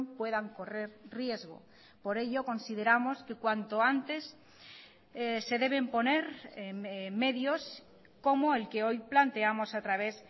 puedan correr riesgo por ello consideramos que cuanto antes se deben poner medios como el que hoy planteamos a través